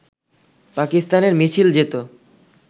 পাকিস্তানের মিছিল যেত